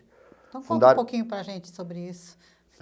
Então, conta um pouquinho para a gente sobre isso.